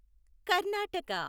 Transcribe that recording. Karnataka